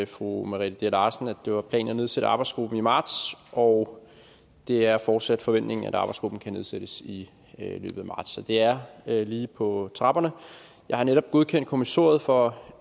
fru merete dea larsen at det var planen at nedsætte arbejdsgruppen i marts og det er fortsat forventningen at arbejdsgruppen kan nedsættes i løbet af marts så det er lige på trapperne jeg har netop godkendt kommissoriet for